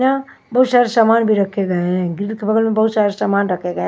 ना बहुत सारे सामान भी रखे गए हैं के बगल में बहुत सारे सामान रखा गया ।